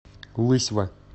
лысьва